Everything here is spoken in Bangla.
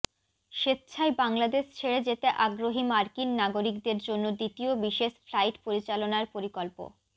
স্বেচ্ছায় বাংলাদেশ ছেড়ে যেতে আগ্রহী মার্কিন নাগরিকদের জন্য দ্বিতীয় বিশেষ ফ্লাইট পরিচালনার পরিকল্প